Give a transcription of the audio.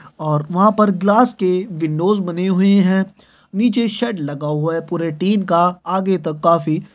और वहाँ पर ग्लास के विंडोस बने हुए है नीचे शेड लगा हुआ है पूरे टीन का आगे तक काफी--